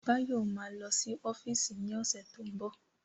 Báyọ̀ ma lọ sí ọ́fíìsì ní ọ̀sẹ̀ tó ń bọ̀